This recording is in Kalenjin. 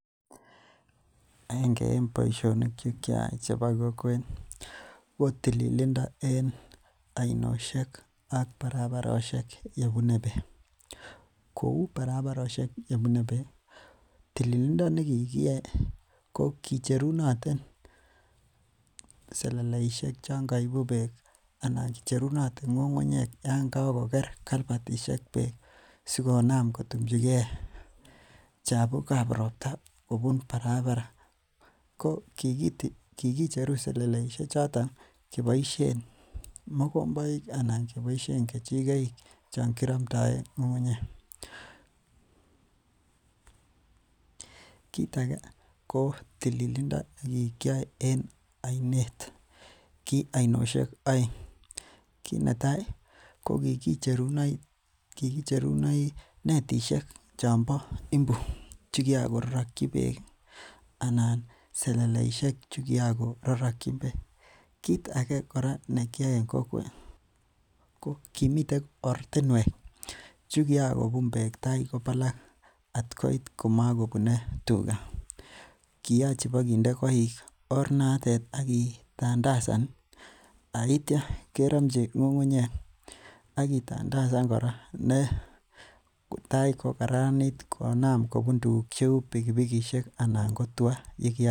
Aenge en boisionik che kiayai chebo kokwet ko tililindo ak barabarosiek . Kouu barabarosiek yebune bek ko kicherunoten seleleisiek chon kaibu bek anan kicherunoten ng'ung'ungnyek chon kokoler yebune bek. Sikonam kotumchile chabukab robta Barbara, ko kilicheru seleleisiek chon keboisien mokomboik anan keboisien kechikoik chon kiramtaen ng'ung'ungnyek kit age ko tililindo ne ki kiyoe en ainet, ki ainoshek aeng, ki netai kikicherunoti netishek chon bo imbu chikiraki bek anan seleleisiek chon mi bek, kit age kora nekikiyoe en kokwet, komiten ortinuek chekiakobun bek tai kowalak at koit komakobune tuga , kiache kibaginde koik oranoto akitandasan aitia kerome ng'ung'ungnyek akitandasan kora kotai ko kararanit kubun pikipikisiek ak tua